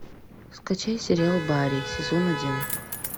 скачай сериал барри сезон один